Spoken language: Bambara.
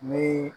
Ni